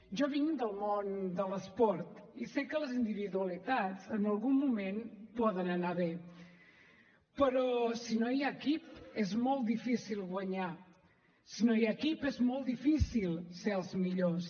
jo vinc del món de l’esport i sé que les individualitats en algun moment poden anar bé però si no hi ha equip és molt difícil guanyar si no hi ha equip és molt difícil ser els millors